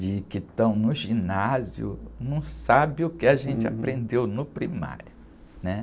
De que estão no ginásio, não sabem o que a gente aprendeu no primário, né?